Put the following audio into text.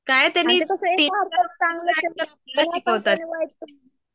काय तेनी अत्ता कसं